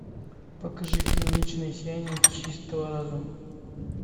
покажи фильм вечное сияние чистого разума